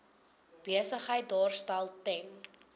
besigheid daarstel ten